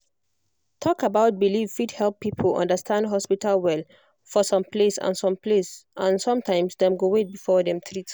talk about belief fit help people understand hospital well for some place and some place and sometimes dem go wait before dem treat